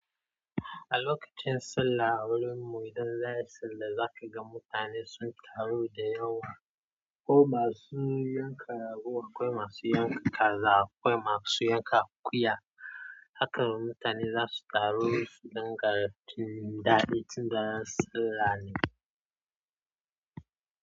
A lokacin sallah a wurin mu idan za a yi sallah za ka ga mutane sun taru da yawa ko ba su yanka rago akwai masu yanka kaza, akwai masu yanka akuya haka mutane za su taru su dinga cin daɗi tun daren sallah.